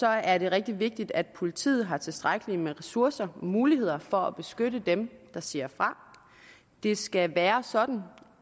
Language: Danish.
er det rigtig vigtigt at politiet har tilstrækkelig med ressourcer og muligheder for at beskytte dem der siger fra det skal være sådan